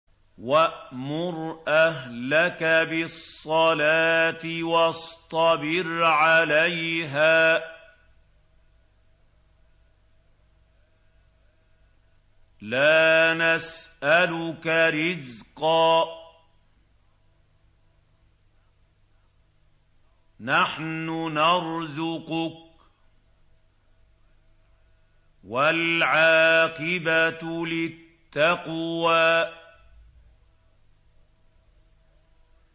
وَأْمُرْ أَهْلَكَ بِالصَّلَاةِ وَاصْطَبِرْ عَلَيْهَا ۖ لَا نَسْأَلُكَ رِزْقًا ۖ نَّحْنُ نَرْزُقُكَ ۗ وَالْعَاقِبَةُ لِلتَّقْوَىٰ